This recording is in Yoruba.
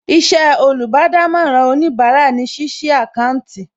Iṣẹ́ olùbádámọ̀ràn òníbarà ní ṣíṣí àkáńtì